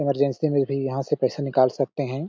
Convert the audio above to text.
Emergency में भी यहाँ से पैसा निकाल सकते है।